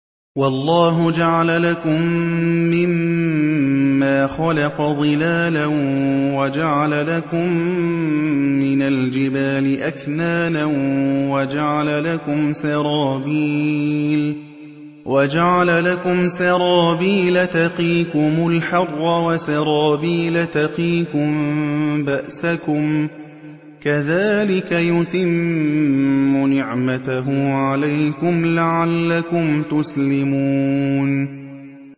وَاللَّهُ جَعَلَ لَكُم مِّمَّا خَلَقَ ظِلَالًا وَجَعَلَ لَكُم مِّنَ الْجِبَالِ أَكْنَانًا وَجَعَلَ لَكُمْ سَرَابِيلَ تَقِيكُمُ الْحَرَّ وَسَرَابِيلَ تَقِيكُم بَأْسَكُمْ ۚ كَذَٰلِكَ يُتِمُّ نِعْمَتَهُ عَلَيْكُمْ لَعَلَّكُمْ تُسْلِمُونَ